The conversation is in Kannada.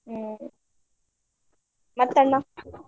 ಹ್ಮ್‌ ಮತ್ ಅಣ್ಣಾ?